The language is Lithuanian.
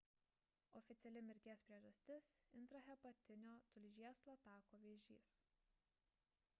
oficiali mirties priežastis – intrahepatinio tulžies latako vėžys